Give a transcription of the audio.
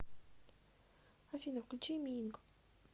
афина включи миинк